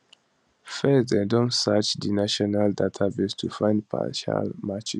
first dem don search di national database to find partial matches